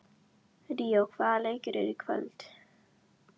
Ríó, hvaða leikir eru í kvöld?